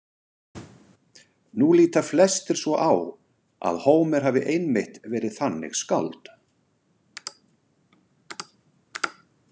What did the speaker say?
Nú líta flestir svo á að Hómer hafi einmitt verið þannig skáld.